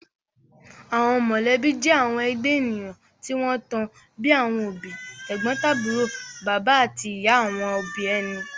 Àwọn mọ̀lẹ́bí jẹ́ àwọn ẹgbẹ́ ènìyàn tí wọ́n tan, bíi àwọn òbí, tẹ̀gbọ́ntàbúrò, bàbá àti ìyá àwọn òbí ẹni